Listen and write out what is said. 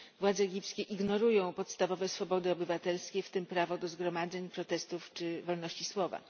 Władze egipskie ignorują podstawowe swobody obywatelskie, w tym prawo do zgromadzeń, protestów czy wolności słowa.